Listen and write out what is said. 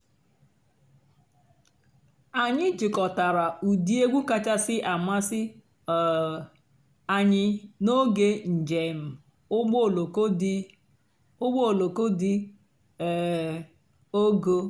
ányị́ jikòtàrà ụ́dị́ ègwú kàchàsị́ àmásị́ um ànyị́ n'óge ǹjéém ụ́gbọ́ òlóko dị́ ụ́gbọ́ òlóko dị́ um ógo.